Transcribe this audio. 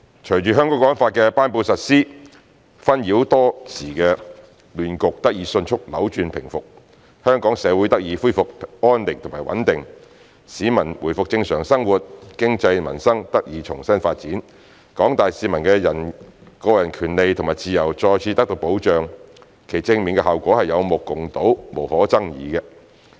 隨着《香港國安法》的頒布實施，紛擾多時的亂局得以迅速扭轉平復，香港社會得以回復安寧和穩定，市民回復正常生活，經濟和民生得以重新發展，廣大市民的個人權利和自由再次得到保障，其正面效果是有目共睹、無可爭議的。